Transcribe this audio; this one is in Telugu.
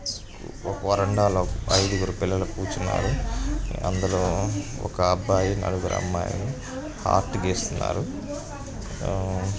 ఒక వరండాలో ఐదుగురు పిల్లలు కూర్చున్నారు అందులో ఒక అబ్బాయి నలుగురు అమ్మాయిలు ఆర్ట్ గీస్తున్నారు. .]